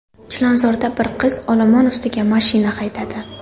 Chilonzorda bir qiz olomon ustiga mashina haydadi.